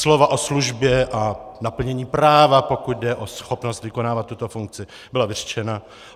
Slova o službě a naplnění práva, pokud jde o schopnost vykonávat tuto funkci, byla vyřčena.